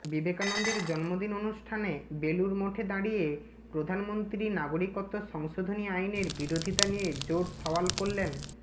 বিবেকানন্দের জন্মদিন অনুষ্ঠানে বেলুড় মঠে দাঁড়িয়ে প্রধানমন্ত্রী নাগরিকত্ব সংশোধনী আইনের বিরোধীতা নিয়ে জোর সওয়াল করলেন